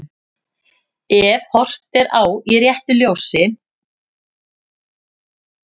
Ef horft er á í réttu ljósi.